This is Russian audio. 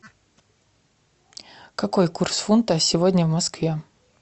какой курс фунта сегодня в москве